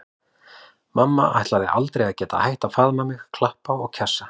Mamma ætlaði aldrei að geta hætt að faðma mig, klappa og kjassa.